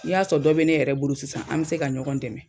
N'i y'a sɔrɔ dɔ be ne yɛrɛ bolo sisan an be se ka ɲɔgɔn dɛmɛ